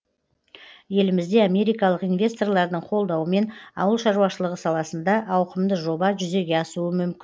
елімізде америкалық инвесторлардың қолдауымен ауыл шаруашылығы саласында ауқымды жоба жүзеге асуы мүмкін